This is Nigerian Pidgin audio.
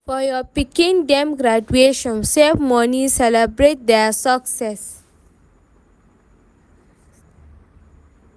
For your pikin dem graduation, save money celebrate their success.